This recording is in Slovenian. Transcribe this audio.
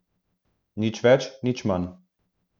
Nič več, nič manj.